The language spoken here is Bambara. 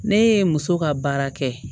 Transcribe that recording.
Ne ye muso ka baara kɛ